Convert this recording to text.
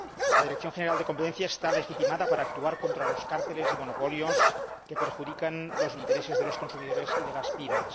La Dirección General de Competencia está legitimada para actuar contra los cárteles y monopolios que perjudican los intereses de los consumidores y de las PYME.